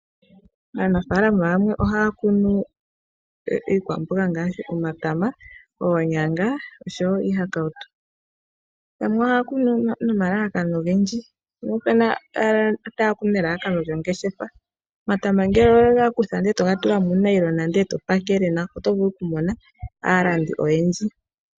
Aanafaalama yamwe oha ya kunu iikwamboga ngashi omatama oonyanga noshowo iihakawutu, yamwe oha ya kunu no omalalakano ogendji, ngaashi elalakano lyo ngeshefa , omatama ngele owe ga kutha eto ga tula muu nayilona ndee eto ga pakele nawa oto vulu oku mona aalandi oyendji.